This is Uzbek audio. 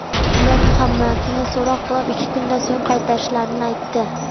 Ular Muhammadni so‘roq qilib, ikki kundan so‘ng qaytarishlarini aytdi.